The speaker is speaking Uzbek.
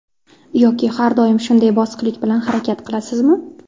Yoki har doim shunday bosiqlik bilan harakat qilasizmi?